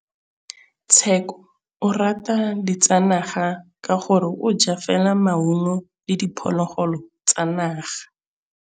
Tshekô o rata ditsanaga ka gore o ja fela maungo le diphologolo tsa naga.